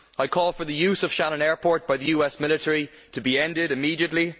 I call for the use of Shannon airport by the US military to be ended immediately.